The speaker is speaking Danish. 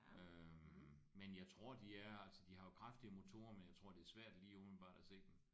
Øh men jeg tror de er altså de har jo kraftige motorer men jeg tror det er svært lige umiddelbart at se dem